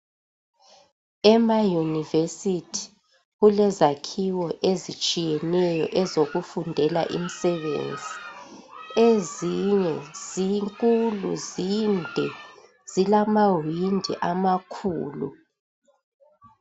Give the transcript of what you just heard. Emayunivesithi kulezakhiwo ezitshiyeneyo ezokufundela imsebenzi. Ezinye zinkulu, zinde, zilamawindi amakhulu.